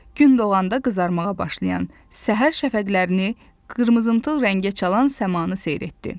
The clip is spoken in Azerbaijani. Gün doğanda qızarmağa başlayan səhər şəfəqlərini, qırmızımtıl rəngə çalan səmanı seyr etdi.